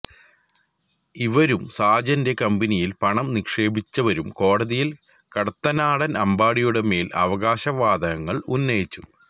ഇവരും സാജന്റെ കമ്പനിയിൽ പണം നിക്ഷേപിച്ചവരും കോടതിയിൽ കടത്തനാടൻ അമ്പാടിയുടെ മേൽ അവകാശവാദങ്ങൾ ഉന്നയിച്ചു